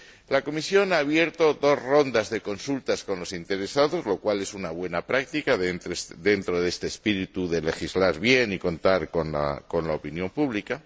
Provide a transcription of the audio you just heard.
La Comisión ha abierto dos rondas de consultas con los interesados, lo cual es una buena práctica dentro de este espíritu de legislar bien y contar con la opinión pública.